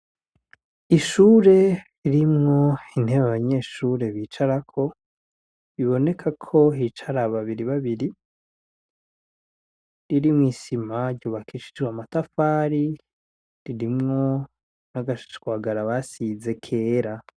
Ishure ririmwo intebe abanyeshure bicarako, biboneka ko hicara babiri babiri, irimwo isima ryubakishijwe amatafari , ririmwo n'agashwagara basize kera.